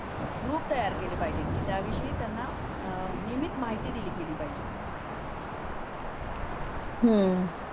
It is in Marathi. ग्रुप तयार केले पाहिजेत की त्याविषयी त्यांना नियमित माहिती दिली गेली पाहिजे